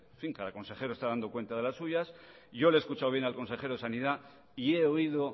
fin cada consejero está dando cuenta de las suyas yo le he escuchado bien al consejero de sanidad y he oído